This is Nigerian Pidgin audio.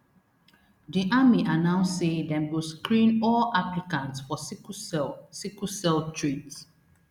di army announce say dem go screen all applicants for sickle cell sickle cell trait